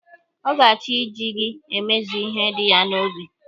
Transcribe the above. Ọ ga-achọ iji gị emezu ihe dị ya n'obi